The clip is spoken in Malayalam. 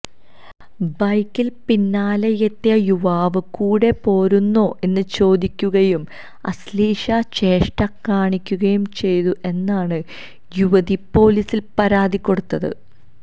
ബൈക്കിൽ പിന്നാലെയെത്തിയ യുവാവ് കൂടെപോരുന്നോ എന്ന് ചോദിക്കുകയും അശ്ലീല ചേഷ്ട കാണിക്കുകയും ചെയ്തു എന്നാണ് യുവതി പോലീസില് പരാതി കൊടുത്തത്